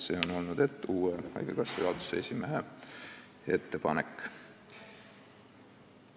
See on olnud haigekassa uue juhatuse esimehe ettepanek.